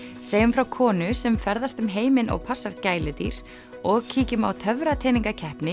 segjum frá konu sem ferðast um heiminn og passar gæludýr og kíkjum á